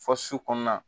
Fɔ su kɔnɔna